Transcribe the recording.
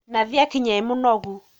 Nathi akinya e mũnogu